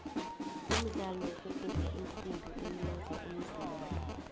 umdlalo wokuguga iinsimbi ulimaza umzimba